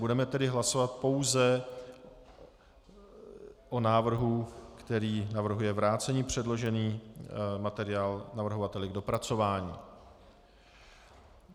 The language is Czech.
Budeme tedy hlasovat pouze o návrhu, který navrhuje vrátit předložený materiál navrhovateli k dopracování.